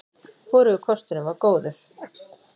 Hvorugur kosturinn var góður.